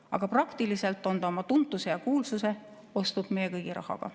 Aga praktiliselt on ta oma tuntuse ja kuulsuse ostnud meie kõigi rahaga.